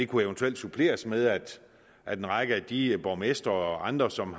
kunne eventuelt suppleres med at at en række af de borgmestre og andre som